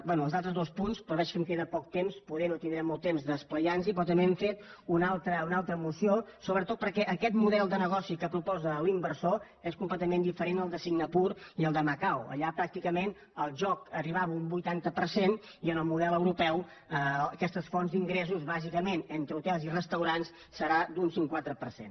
bé els altres dos punts però veig que em queda poc temps poder no tindrem molt temps d’esplaiar nos hi però també hem fet una altra moció sobretot perquè aquest model de negoci que proposa l’inversor és completament diferent del de singapur i del de macau allà pràcticament el joc arribava a un vuitanta per cent i en el model europeu aquestes fonts d’ingressos bàsicament entre hotels i restaurants serà d’un cinquanta per cent